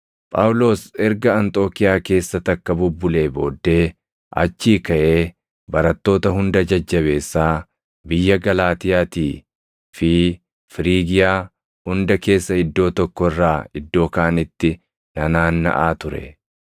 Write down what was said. Phaawulos erga Anxookiiyaa keessa takka bubbulee booddee achii kaʼee barattoota hunda jajjabeessaa biyya Galaatiyaatii fi Firiigiyaa hunda keessa iddoo tokko irraa iddoo kaanitti nanaannaʼaa ture.